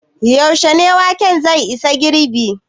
Yaushe ne waken zai isa girɓi?